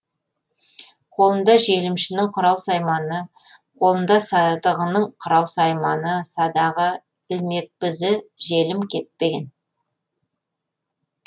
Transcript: қолында желімшінің құрал сайманы қолында садығының құрал сайманы садағы ілмекбізі желім кеппеген